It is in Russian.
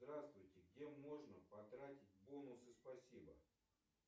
здравствуйте где можно потратить бонусы спасибо